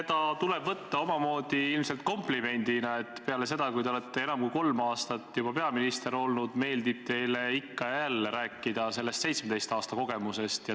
Seda tuleb võtta ilmselt omamoodi komplimendina, et peale seda, kui te olete enam kui kolm aastat juba peaminister olnud, meeldib teile ikka ja jälle rääkida sellest 17 aasta kogemusest.